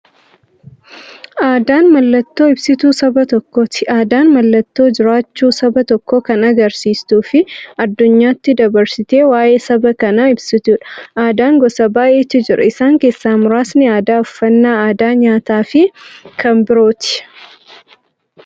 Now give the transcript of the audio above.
Aadaan mallattoo ibsituu saba tokkooti. Aadaan mallattoo jiraachuu saba tokkoo kan agarsiistufi addunyyaatti dabarsitee waa'ee saba sanaa ibsituudha. Aadaan gosa baay'eetu jira. Isaan keessaa muraasni aadaa, uffannaa aadaa nyaataafi kan biroo.